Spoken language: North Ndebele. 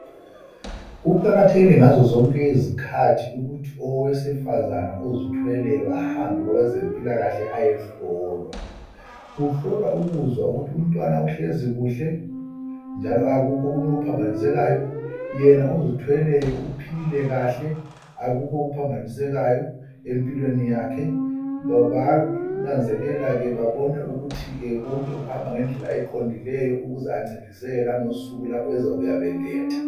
Kuqakathekile ukuthi owesifazane ozithweleyo ahambe kwabezempilakahle ayehlolwa kuhlolwa ukuzwa ukuthi umntwana uhlezi kuhle njalo akukho okunye okuphambanisekayo wena ozithweleyo uphilile kahle akukho okuphambanisekayo empilweni yakhe bayananzele babone ukuthi ngendlela eqongileyo ukuze ancedise langosuku beletha